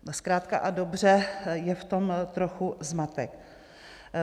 Zkrátka a dobře, je v tom trochu zmatek.